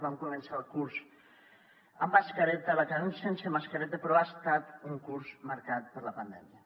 vam començar el curs amb mascareta l’acabem sense mascareta però ha estat un curs marcat per la pandèmia